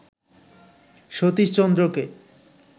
Satish চন্দ্রকে